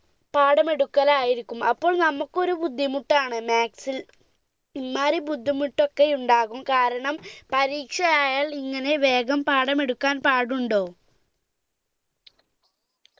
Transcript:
പാഠമെടുക്കലായിരിക്കും അപ്പോൾ നമുക്ക് ഒരു ബുദ്ധിമുട്ടാണ് maths ൽ ഇമ്മാരി ബുദ്ധിമുട്ടൊക്കെ ഉണ്ടാകും കാരണം പരീക്ഷ ആയാൽ പരീക്ഷ ആയാൽ ഇങ്ങനെ വേഗം പാഠം എടുക്കാൻ പാടുണ്ടോ